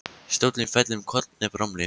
Stóllinn fellur um koll með bramli.